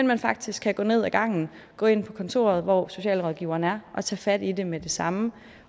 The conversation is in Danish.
man faktisk kan gå ned ad gangen gå ind på kontoret hvor socialrådgiveren er og tage fat i det med det samme